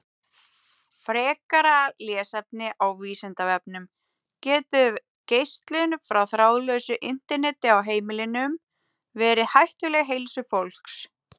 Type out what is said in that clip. Frekara lesefni á Vísindavefnum: Getur geislun frá þráðlausu Interneti á heimilum verið hættuleg heilsu fólks?